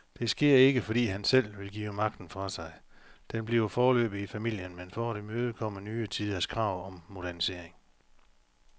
Det sker ikke, fordi han selv vil give magten fra sig, den bliver foreløbig i familien, men for at imødekomme nye tiders krav om modernisering.